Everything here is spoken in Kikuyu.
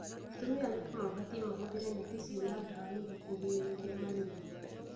Atumia aritũ mabatie mahũthĩre neti ciina ndawa nĩguo kũgirĩrĩria malaria.